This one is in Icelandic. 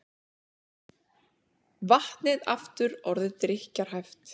Vatnið aftur orðið drykkjarhæft